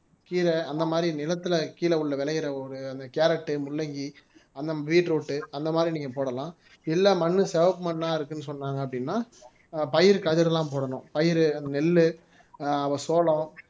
கீரை அந்த மாதிரி நிலத்துல கீழே உள்ள விளையிற ஒரு அந்த கேரட்டு முள்ளங்கி அந்த பீட்ரூட் அந்த மாதிரி நீங்க போடலாம் இல்லை மண்ணு செவப்பு மண்ணா இருக்குன்னு சொன்னாங்க அப்படின்னா பயிர் கதிர் எல்லாம் போடணும் பயிர் நெல்லு ஆஹ் சோளம்